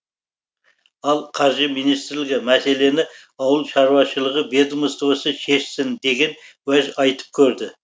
ал қаржы министрлігі мәселені ауыл шаруашылығы ведомствосы шешсін деген уәж айтып көрді